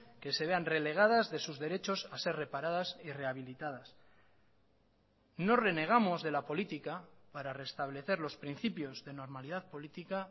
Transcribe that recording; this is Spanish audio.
que se vean relegadas de sus derechos a ser reparadas y rehabilitadas no renegamos de la política para reestablecer los principios de normalidad política